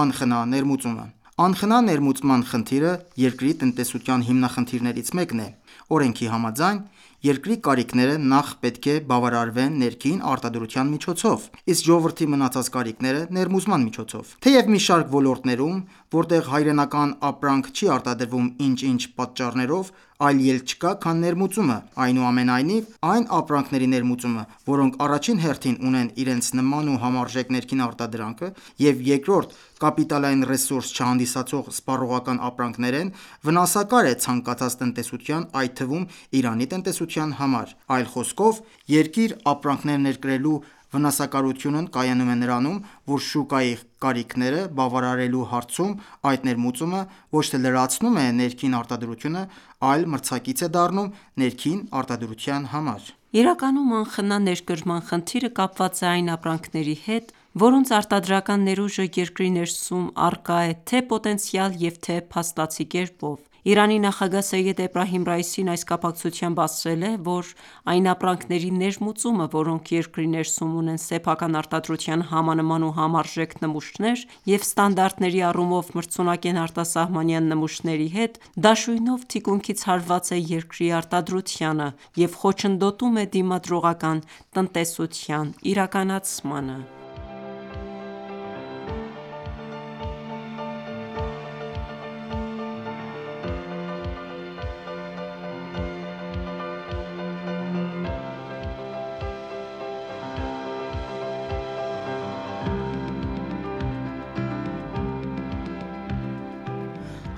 անխնա ներմուծումը։ Անխնա ներմուծման խնդիրը երկրի տնտեսության հիմնախնդիրներից մեկն է։ Օրենքի համաձայն՝ երկրի կարիքները նախ պետք է բավարարվեն ներքին արտադրության միջոցով, իսկ ժողովրդի մնացած կարիքները՝ ներմուծման միջոցով։ Թեև մի շարք ոլորտներում, որտեղ հայրենական ապրանք չի արտադրվում ինչ-ինչ պատճառներով, այլ ելք չկա, քան ներմուծումը, այնուամենայնիվ այն ապրանքների ներմուծումը, որոնք առաջին հերթին ունեն իրենց նման ու համարժեք ներքին արտադրանք, և երկրորդ՝ կապիտալային ռեսուրս չհանդիսացող սպառողական ապրանքներ են, վնասակար է ցանկացած տնտեսության այդ թվում, Իրանի տնտեսության համար։ Այլ խոսքով, երկիր ապրանքներ ներկրելու վնասակարությունն կայանում է նրանում, որ շուկայի կարիքները բավարարելու հարցում այդ ներմուծումը ոչ թե լրացնում է ներքին արտադրությունը, այլ մրցակից է դառնում ներքին արտադրության համար։ Իրականում անխնա ներկրման խնդիրը կապված է այն ապրանքների հետ, որոնց արտադրական ներուժը երկրի ներսում առկա է թե՛ պոտենցիալ, և թե՛ փաստացի կերպով։ Իրանի նախագահ Սեյեդ Էբրահիմ Ռայիսին այս կապակցությամբ ասել է, որ այն ապրանքների ներմուծումը, որոնք երկրի ներսում ունեն սեփական արտադրության համանման ու համարժեք նմուշներ, և ստանդարտների առումով մրցունակ են արտասահմանյան նմուշների հետ, դաշույնով թիկունքից հարված է երկրի արտադրությանը և խոչընդոտում է դիմադրողական տնտեսության իրականացմանը։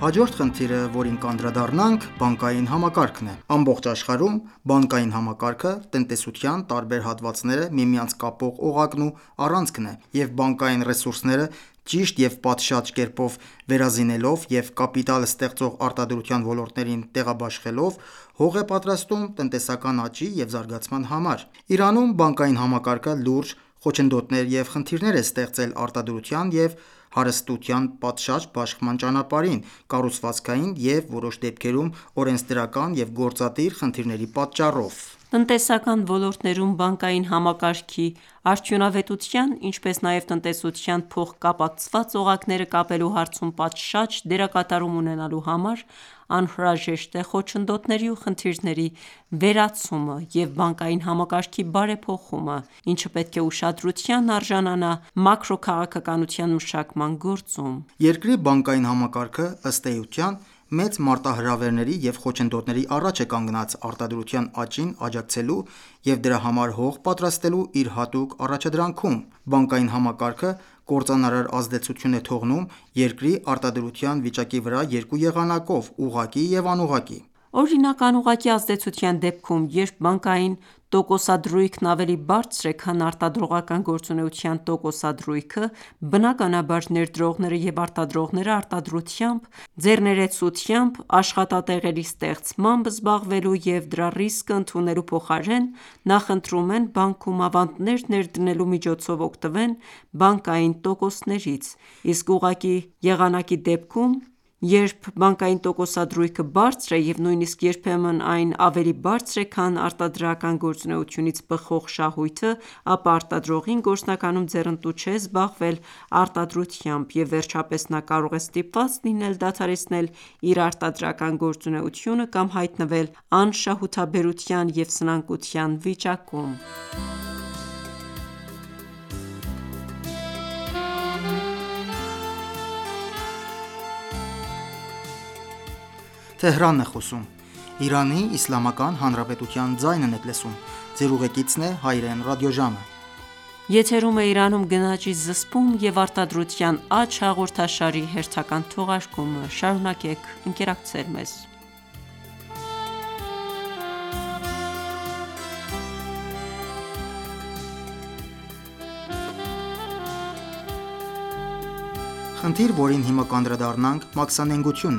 Բանկային համակարգ Ամբողջ աշխարհում բանկային համակարգը տնտեսության տարբեր հատվածները միմյանց կապող օղակն ու առանցքն է, և բանկային ռեսուրսները ճիշտ և պատշաճ կերպով վերազինելով և կապիտալ ստեղծող արտադրության ոլորտներին տեղաբաշխելով՝ հող է պատրաստում տնտեսական աճի և զարգացման համար։ Իրանում բանկային համակարգը լուրջ խոչընդոտներ և խնդիրներ է ստեղծել արտադրության և հարստության պատշաճ բաշխման ճանապարհին` կառուցվածքային և որոշ դեպքերում օրենսդրական և գործադիր խնդիրների պատճառով: Տնտեսական ոլորտներում բանկային համակարգի արդյունավետության, ինչպես նաև տնտեսության փոխկապակցված օղակները կապելու հարցում պատշաճ դերակատարում ունենալու համար անհրաժեշտ է խոչընդոտների ու խնդիրների վերացումը և բանկային համակարգի բարեփոխումը, ինչը պետք է ուշադրության արժանանա մակրոքաղաքականության մշակման գործում: Երկրի բանկային համակարգը, ըստ էության, մեծ մարտահրավերների և խոչընդոտների առաջ է կանգնած՝ արտադրության աճին աջակցելու և դրա համար հող պատրաստելու իր հատուկ առաջադրանքում։ Բանկային համակարգը կործանարար ազդեցություն է թողնում երկրի արտադրության վիճակի վրա երկու եղանակով՝ ուղղակի և անուղղակի։ Օրինակ՝ անուղղակի ազդեցության դեպքում, երբ բանկային տոկոսադրույքն ավելի բարձր է, քան արտադրողական գործունեության տոկոսադրույքը, բնականաբար, ներդրողները և արտադրողները արտադրությամբ, ձեռներեցությամբ, աշխատատեղերի ստեղծմամբ զբաղվելու և դրա ռիսկն ընդունելու փոխարեն, նախընտրում են բանկում ավանդներ ներդնելու միջոցով օգտվեն բանկային տոկոսներից: Իսկ ուղղակի եղանակի դեպքում, երբ բանկային տոկոսադրույքը բարձր է և նույնիսկ երբեմն այն ավելի բարձր է, քան արտադրական գործունեությունից բխող շահույթը, ապա արտադրողին գործնականում ձեռնտու չէ զբաղվել արտադրությամբ, և վերջապես նա կարող է ստիպված լինել դադարեցնել իր արտադրական գործունեությունը, կամ հայտնվել անշահութաբերության և սնանկության վիճակում: Մաքսանենգություն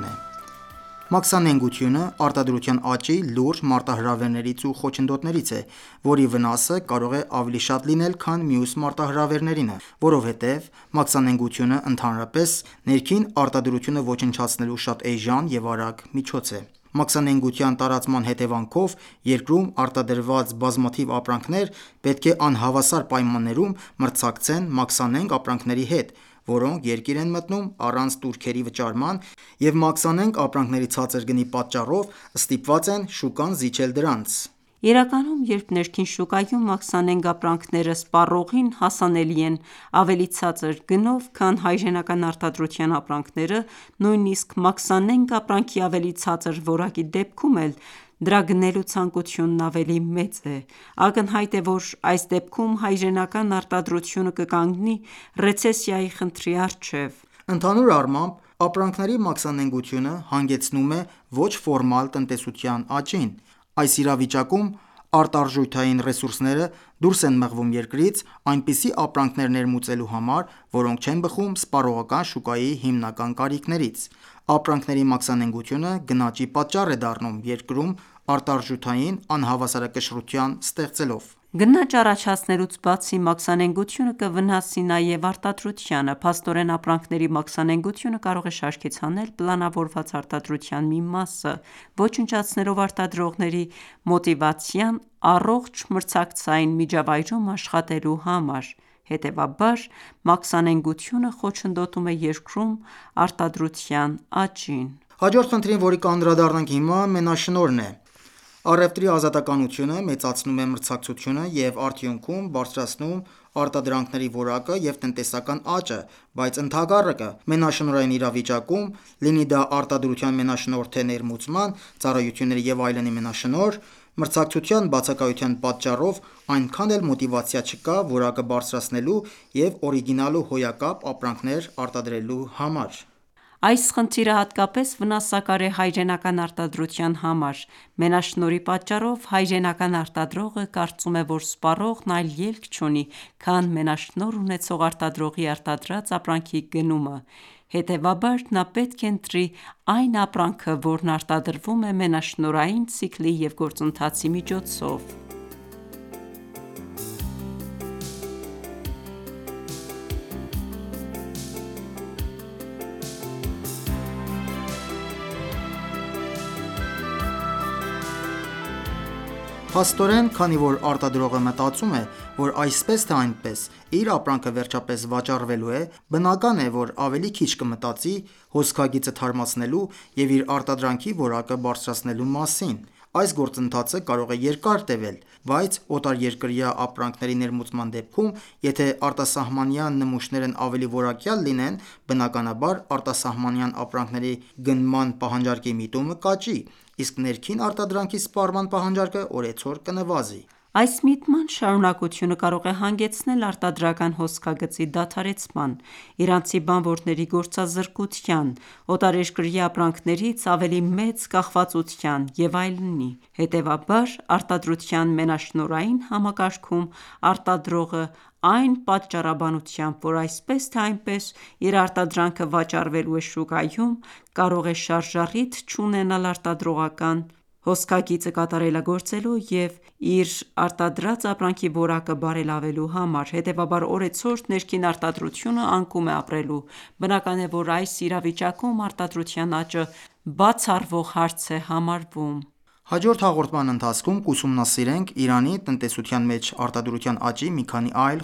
Մաքսանենգությունը արտադրության աճի լուրջ մարտահրավերներից ու խոչընդոտներից է, որի վնասը կարող է ավելի շատ լինել, քան մյուս մարտահրավերներինը։ Որովհետև մաքսանենգությունը, ընդհանրապես, ներքին արտադրությունը ոչնչացնելու շատ էժան և արագ միջոց է։ Մաքսանենգության տարածման հետևանքով երկրում արտադրված բազմաթիվ ապրանքներ պետք է անհավասար պայմաններում մրցակցեն մաքսանենգ ապրանքների հետ, որոնք երկիր են մտնում առանց տուրքերի վճարման, և մաքսանենգ ապրանքների ցածր գնի պատճառով ստիպված են շուկան զիջել դրանց։ Իրականում, երբ ներքին շուկայում մաքսանենգ ապրանքները սպառողին հասանելի են ավելի ցածր գնով, քան հայրենական արտադրության ապրանքները, նույնիսկ մաքսանենգ ապրանքի ավելի ցածր որակի դեպքում էլ դրա գնելու ցանկությունն ավելի մեծ է։ Ակնհայտ է, որ այս դեպքում հայրենական արտադրությունը կկանգնի ռեցեսիայի խնդրի առջև։ Ընդհանուր առմամբ, ապրանքների մաքսանենգությունը հանգեցնում է ոչ ֆորմալ տնտեսության աճին։ Այս իրավիճակում արտարժութային ռեսուրսները դուրս են մղվում երկրից՝ այնպիսի ապրանքներ ներմուծելու համար, որոնք չեն բխում սպառողական շուկայի հիմնական կարիքներից։ Ապրանքների մաքսանենգությունը գնաճի պատճառ է դառնում՝ երկրում արտարժութային անհավասարակշռություն ստեղծելով։ Գնաճ առաջացնելուց բացի, մաքսանենգությունը կվնասի նաև արտադրությանը։ Փաստորեն, ապրանքների մաքսանենգությունը կարող է շարքից հանել պլանավորված արտադրության մի մասը՝ ոչնչացնելով արտադրողների մոտիվացիան առողջ մրցակցային միջավայրում աշխատելու համար։ Հետեւաբար, մաքսանենգությունը խոչընդոտում է երկրում արտադրության աճին։ Մենաշնորհ Առևտրի ազատությունը մեծացնում է մրցակցությունը և արդյունքում բարձրացնում արտադրանքների որակը և տնտեսական աճը, բայց ընդհակառակը՝ մենաշնորհային իրավիճակում՝ լինի դա արտադրության մենաշնորհ, թե ներմուծման, ծառայությունների և այլնի մենաշնորհ, մրցակցության բացակայության պատճառով այնքան էլ մոտիվացիա չկա որակը բարձրացնելու և օրիգինալ ու հոյակապ ապրանքներ արտադրելու համար։ Այս խնդիրը հատկապես վնասակար է հայրենական արտադրության համար։ Մենաշնորհի պատճառով հայրենական արտադրողը կարծում է, որ սպառողն այլ ելք չունի, քան մենաշնորհ ունեցող արտադրողի արտադրած ապրանքի գնումը, հետևաբար նա պետք է ընտրի այն ապրանքը, որն արտադրվում է մենաշնորհային ցիկլի և գործընթացի միջոցով։ Փաստորեն, քանի որ արտադրողը մտածում է, որ այսպես թե այնպես իր ապրանքը վերջապես վաճառվելու է, բնական է, որ ավելի քիչ կմտածի հոսքագիծը թարմացնելու և իր արտադրանքի որակը բարձրացնելու մասին։ Այս գործընթացը կարող է երկար տևել, բայց օտարերկրյա ապրանքների ներմուծման դեպքում, եթե արտասահմանյան նմուշներն ավելի որակյալ լինեն, բնականաբար, արտասահմանյան ապրանքների գնման պահանջարկի միտումը կաճի, իսկ ներքին արտադրանքի սպառման պահանջարկը օրեցօր կնվազի։ Այս միտման շարունակությունը կարող է հանգեցնել արտադրական հոսքագծի դադարեցման, իրանցի բանվորների գործազրկության, օտարերկրյա ապրանքներից ավելի մեծ կախվածության և այլնի։ Հետևաբար, արտադրության մենաշնորհային համակարգում արտադրողն այն պատճառաբանությամբ, որ այսպես թե այնպես իր արտադրանքը վաճառվելու է շուկայում, կարող է շարժառիթ չունենալ արտադրական հոսքագիծը կատարելագործելու և իր արտադրած ապրանքի որակը բարելավելու համար, հետևաբար օրեցօր ներքին արտադրությունը անկում է ապրելու։ Բնական է, որ այս իրավիճակում արտադրության աճը բացառվող հարց է համարվում։ Հաջորդ Հաղորդման ընթացքում կուսումնասիրենք Իրանի տնտեսության մեջ արտադրության աճի մի քանի այլ